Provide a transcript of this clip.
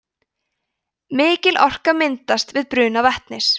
mikil orka myndast við bruna vetnis